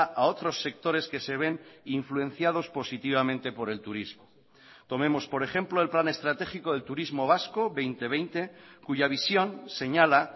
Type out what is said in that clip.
a otros sectores que se ven influenciados positivamente por el turismo tomemos por ejemplo el plan estratégico del turismo vasco dos mil veinte cuya visión señala